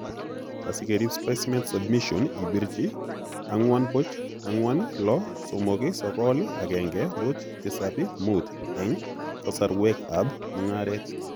Asikeriib specimen submission ibirchi 404 639 1075 eng' kasorwek ab mung'areet